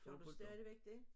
Har du stadigvæk dét?